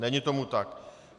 Není tomu tak.